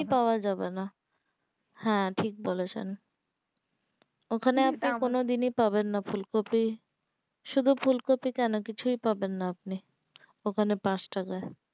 দিনই পাওয়া যাবেনা হ্যাঁ ঠিক বলেছেন ওখানে আপনি কোনো দিনই পাবেন না ফুলকপি শুধু ফুলকপি কেন কিছু ই পাবেন না আপনি ও খানে পাঁচ টাকা